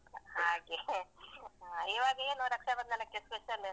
ಹಾಗೆ. ಹಾ . ಇವಾಗೇನು ರಕ್ಷಾಬಂಧನಕ್ಕೆ special ?